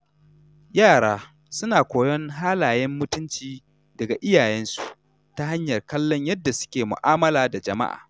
Yara suna koyon halayen mutunci daga iyayensu ta hanyar kallon yadda suke mu’amala da jama’a.